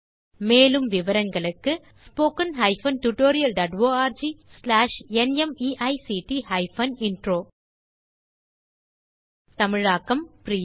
மேலும் விவரங்களுக்கு spoken hyphen tutorial dot org slash NMEICT hyphen intro தமிழாக்கம் பிரியா